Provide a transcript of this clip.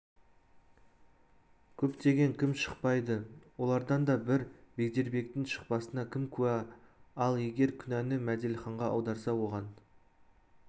көптен кім шықпайды олардан да бір бегдербектің шықпасына кім куә ал егер күнәні мәделіханға аударса оған